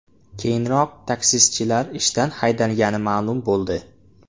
Keyinroq taksichilar ishdan haydalgani ma’lum bo‘ldi.